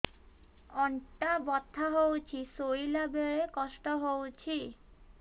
ଅଣ୍ଟା ବଥା ହଉଛି ଶୋଇଲା ବେଳେ କଷ୍ଟ ହଉଛି